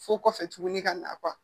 Fo kɔfɛ tuguni ka na